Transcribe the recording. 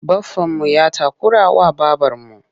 Baffanmu ya takurawa babarmu.